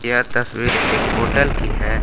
यह तस्वीर एक होटल की है।